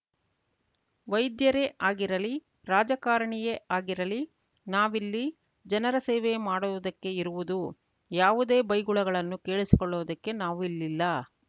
ವೈದ್ಯರೇ ಆಗಿರಲಿ ರಾಜಕಾರಣಿಯೇ ಆಗಿರಲಿ ನಾವಿಲ್ಲಿ ಜನರ ಸೇವೆ ಮಾಡುವುದಕ್ಕೆ ಇರುವುದು ಯಾವುದೇ ಬೈಗುಳಗಳನ್ನು ಕೇಳಿಸಿಕೊಳ್ಳುವುದಕ್ಕೆ ನಾವು ಇಲ್ಲಿಲ್ಲ